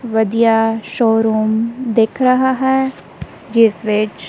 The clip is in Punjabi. ਵਧੀਆ ਸ਼ੋਰੂਮ ਦਿੱਖ ਰਹਾ ਹੈ ਜਿੱਸ ਵਿੱਚ--